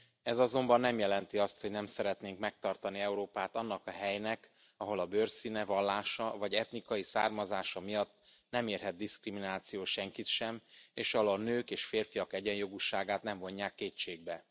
Ez azonban nem jelenti azt, hogy nem szeretnénk megtartani Európát annak a helynek, ahol a bőrszíne, vallása vagy etnikai származása miatt nem érhet diszkrimináció senkit sem, és ahol a nők a férfiak egyenjogúságát nem vonják kétségbe.